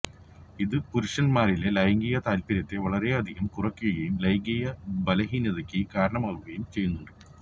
ഇത് പുരുഷൻമാരിലെ ലൈംഗിക താൽപ്പര്യത്തെ വളരെയധികം കുറക്കുകയും ലൈംഗിക ബലഹീനതക്ക് കാരണമാകുകയും ചെയ്യുന്നുണ്ട്